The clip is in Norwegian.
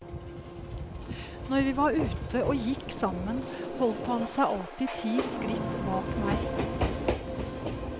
Når vi var ute og gikk sammen, holdt han seg alltid ti skritt bak meg.